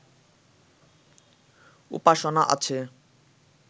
উপাসনা আছে